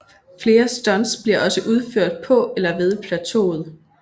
Flere stunts bliver også udført på eller ved plateauet